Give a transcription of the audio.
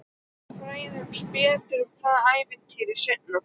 En við fræðumst betur um það ævintýri seinna.